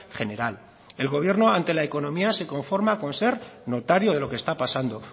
general el gobierno ante la economía se conforma con ser notario de lo que está pasando